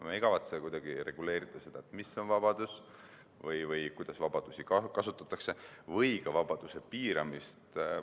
Me ei kavatse kuidagi reguleerida seda, mis on vabadus või kuidas vabadusi kasutatakse, ega ka vabaduse piiramist.